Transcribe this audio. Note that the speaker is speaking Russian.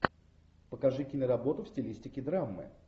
покажи киноработу в стилистике драмы